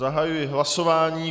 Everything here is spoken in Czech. Zahajuji hlasování.